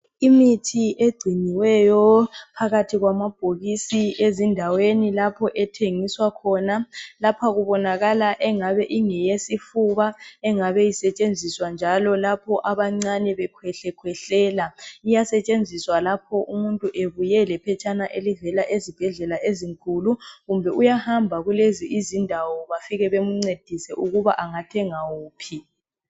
Imithi egciniweyo phakathi kwamabhokisi ezindaweni lapho ethengiswa khona .Lapha kubonakala engabe ingeyesifuba engabe isetshenziswa njalo lapho abancane bekhwehlekhwehlela .Iyasetshenziswa lapho umuntu ebuye lephetshana elivela ezibhedlela ezinkulu .Kumbe uyahamba kulezi izindawo bafike bemncedise ukuba angathenga wuphi .